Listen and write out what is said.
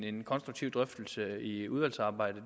en konstruktiv drøftelse i udvalgsarbejdet